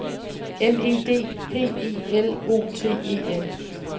M E D P I L O T E N